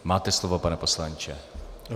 Máte slovo, pane poslanče.